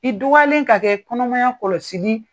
I dɔgɔyalen ka kɛ kɔnɔmaya kɔlɔsili